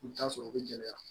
I bɛ t'a sɔrɔ u bɛ gɛlɛya